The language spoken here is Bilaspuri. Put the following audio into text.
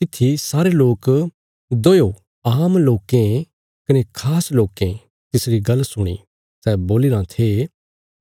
तित्थी सारे लोक दोयो आम लोकें कने खास लोकें तिसरी गल्ल सुणी सै बोलीराँ थे